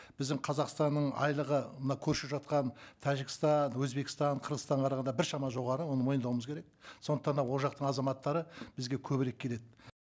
біздің қазақстанның айлығы мына көрші жатқан тәжікстан өзбекстан қырғызстанға қарағанда біршама жоғары оны мойындауымыз керек сондықтан да ол жақтың азаматтары бізге көбірек келеді